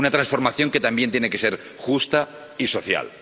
Una transformación que también tiene que ser justa y social.